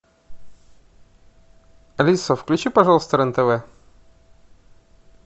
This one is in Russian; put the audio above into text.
алиса включи пожалуйста рен тв